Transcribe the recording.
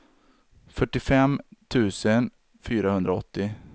fyrtiofem tusen fyrahundraåttio